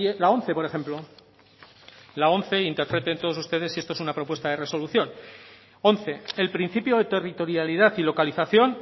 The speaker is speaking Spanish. la once por ejemplo la once interpreten todos ustedes si esto es una propuesta de resolución once el principio de territorialidad y localización